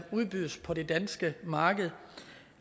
udbydes på det danske marked